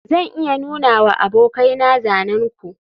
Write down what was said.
zan iya nunawa abokaina zanen ku